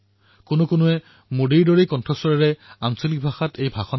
বহুলোকে আঞ্চলিক ভাষাত মোদীৰ সৈতে প্ৰায় একে ধ্বনিৰ লোকৰ পৰা একেই আণ্ডাজত মন কী বাত শুনে